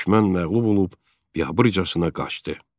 Düşmən məğlub olub biabırçasına qaçdı.